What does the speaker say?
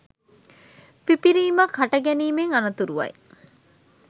පිපිරීමක් හට ගැනීමෙන් අනතුරුවයි